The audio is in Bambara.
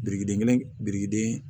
Birikiden kelen biriki den